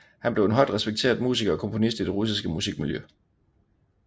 Han blev en højt respekteret musiker og komponist i det russiske musikmiljø